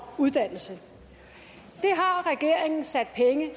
uddannelse det har regeringen sat penge